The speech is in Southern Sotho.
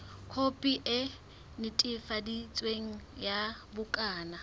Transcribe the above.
khopi e netefaditsweng ya bukana